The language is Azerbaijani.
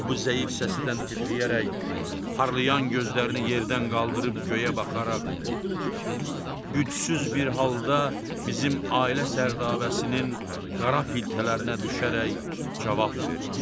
O bu zəif səstdən titrəyərək, parlayan gözlərini yerdən qaldırıb göyə baxaraq, gücsüz bir halda bizim ailə sərdabəsinin qara piltələrinə düşərək cavab verdi.